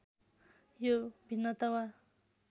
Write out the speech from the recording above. यो भिन्नता वा